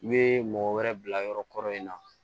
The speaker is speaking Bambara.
U bɛ mɔgɔ wɛrɛ bila yɔrɔ kɔrɔ in na